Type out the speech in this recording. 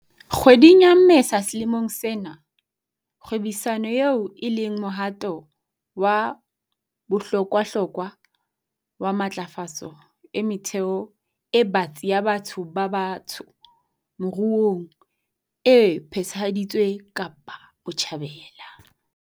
Kgweding ya Mmesa selemong sena, kgwebisano eo e leng mohato wa bohlokwahlokwa wa matlafatso e metheo e batsi ya batho ba batsho moruong e phethahaditswe Kapa Botjhabela.